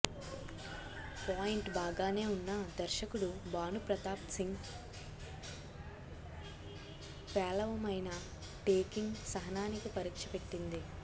point బాగానే ఉన్నా దర్శకుడు భాను ప్రతాప్ సింగ్ పేలవమైన టేకింగ్ సహనానికి పరీక్ష పెట్టింది